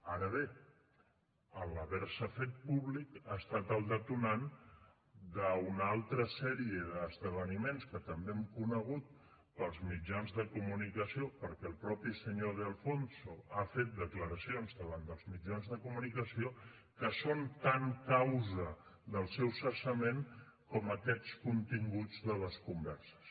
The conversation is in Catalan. ara bé en haver se fet públic ha estat el detonant d’una altra sèrie d’esdeveniments que també hem conegut pels mitjans de comunicació perquè el mateix senyor de alfonso ha fet declaracions davant dels mitjans de comunicació que són tan causa del seu cessament com aquests continguts de les converses